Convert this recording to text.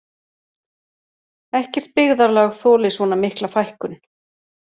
Ekkert byggðarlag þoli svona mikla fækkun